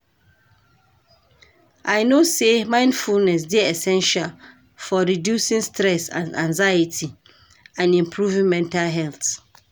I know say mindfulness dey essential for reducing stress and anxiety and improving mental health.